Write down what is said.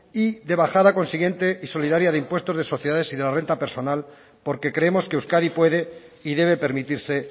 y de bajada consiguiente y solidaria de impuestos de sociedades y de la renta personal porque creemos que euskadi puede y debe permitirse